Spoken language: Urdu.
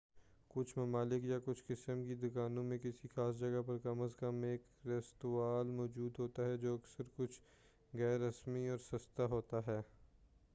کچھ ممالک یا کچھ قسم کی دکانوں میں کسی خاص جگہ پر کم از کم ایک ریستوراں موجود ہوتا ہے جو اکثر کچھ غیر رسمی اور سستا ہوتا ہے